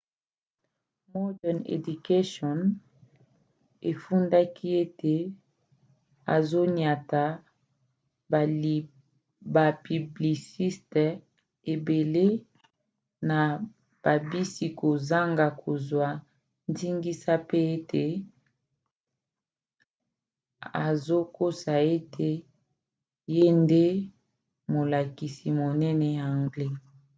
modern education efundaki ete azoniata bapiblisite ebele na babisi kozanga kozwa ndingisa pe ete azokosa ete ye nde molakisi monene ya anglais